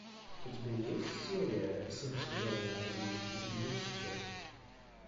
у тебя есть серия семь сезона один люцифер